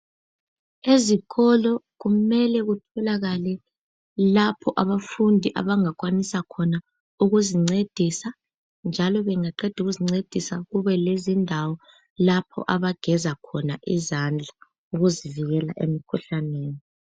Ezikolo kumele kutholakale lapho abafundi abangakwanisa khona ukuzincedisa, njalo beqeda ukuzincedisa kube lezindawo lapho abageza khona izandla ukuzivikela emikhuhlaneni.